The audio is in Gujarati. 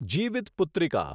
જીવિતપુત્રિકા